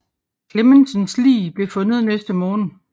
Clemmensens lig blev fundet næste morgen